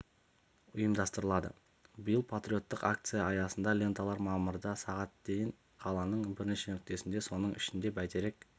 ұйымдастырылады биыл патриоттық акция аясында ленталар мамырда сағат дейін қаланың бірнеше нүктесінде соның ішінде бәйтерек